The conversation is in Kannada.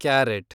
ಕ್ಯಾರೆಟ್